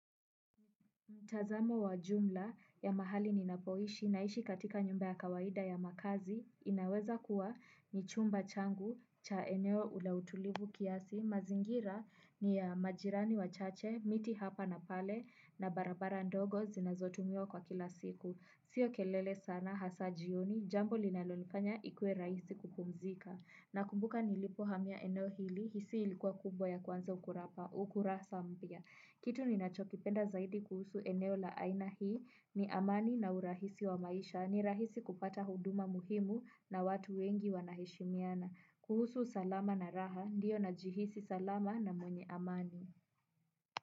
Mtazamo wa jumla ya mahali ninapoishi naishi katika nyumba ya kawaida ya makazi inaweza kuwa ni chumba changu cha eneo la utulivu kiasi mazingira ni ya majirani wa chache miti hapa na pale na barabara ndogo zinazotumiwa kwa kila siku. Sio kelele sana hasa jioni, jambo linalonifanya ikue rahisi kupumzika. Nakumbuka nilipo hamia eneo hili, hisai ilikuwa kubwa ya kwanza, ukurasa mpya. Kitu ninachokipenda zaidi kuhusu eneo la aina hii, ni amani na urahisi wa maisha, ni rahisi kupata huduma muhimu na watu wengi wanaheshimiana. Kuhusu usalama na raha, ndiyo najihisi salama na mwenye amani.